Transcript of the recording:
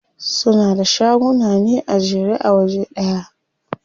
Suna da shaguna ne a jere a waje ɗaya.